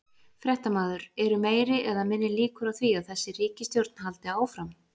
Fréttamaður: Eru meiri eða minni líkur á því að þessi ríkisstjórn haldi áfram?